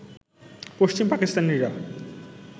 পশ্চিম পাকিস্তানিরা